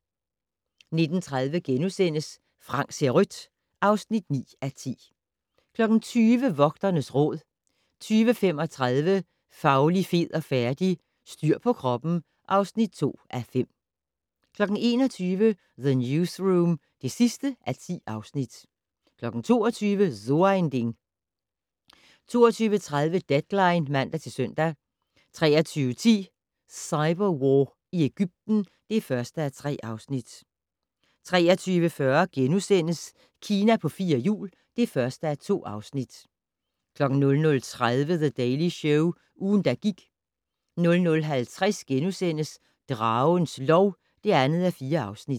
19:30: Frank ser rødt (9:10)* 20:00: Vogternes Råd 20:35: Fauli, fed og færdig? - Styr på kroppen (2:5) 21:00: The Newsroom (10:10) 22:00: So ein Ding 22:30: Deadline (man-søn) 23:10: Cyberwar i Egypten (1:3) 23:40: Kina på fire hjul (1:2)* 00:30: The Daily Show - ugen, der gik 00:50: Dragens lov (2:4)*